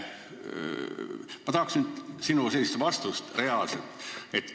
Ma tahaks nüüd sinult n-ö reaalset vastust.